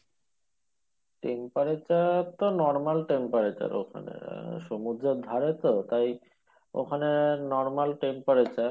temperature তো normal temperature ওখানে সমুদ্রের ধারে তো তাই ওখানে normal temperature